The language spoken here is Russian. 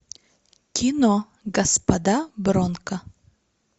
кино господа бронко